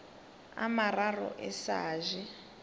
a mararo e sa je